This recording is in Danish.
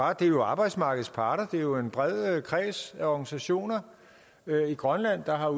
og det er jo arbejdsmarkedets parter det er jo en bred kreds af organisationer i grønland der har